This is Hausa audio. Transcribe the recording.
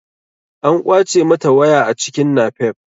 An ƙwace mata waya a cikin napep.